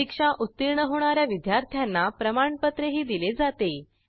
परीक्षा उत्तीर्ण होणा या विद्यार्थ्यांना प्रमाणपत्रही दिले जाते